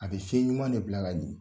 A be fiɲɛ ɲuman ne bila ka jigin.